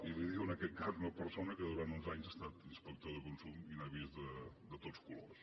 i li ho diu en aquest cas una persona que durant onze anys ha estat inspector de consum i n’ha vist de tots colors